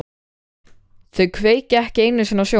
Þau kveikja ekki einu sinni á sjónvarpinu.